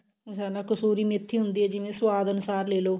ਕਸੂਰੀ ਮੇਥੀ ਹੁੰਦੀ ਜਿਵੇਂ ਸੁਵਾਦ ਅਨੁਸਾਰ ਲੇਲੋ